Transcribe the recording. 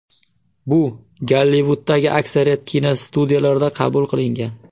Bu Gollivuddagi aksariyat kinostudiyalarda qabul qilingan.